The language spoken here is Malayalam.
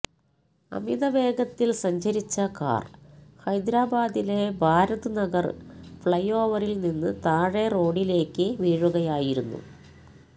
അമിത വേഗത്തിൽ സഞ്ചരിച്ച കാർ ഹൈദരാബാദിലെ ഭാരത് നഗർ ഫ്ലൈഓവറിൽ നിന്ന് താഴെ റോഡിലേക്ക് വീഴുകയായിരുന്നു